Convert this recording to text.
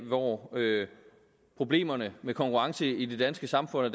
hvor problemerne med konkurrencen i det danske samfund og